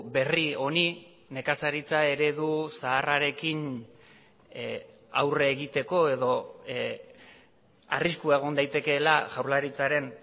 berri honi nekazaritza eredu zaharrarekin aurre egiteko edo arriskua egon daitekeela jaurlaritzaren